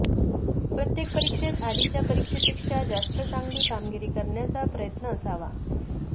प्रत्येक परीक्षेत आधीच्या परीक्षेपेक्षा जास्त चांगली कामगिरी करण्याचा प्रयत्न असावा